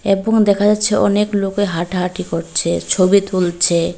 এবং দেখা যাচ্ছে অনেক লোকে হাঁটাহাঁটি করছে ছবি তুলছে।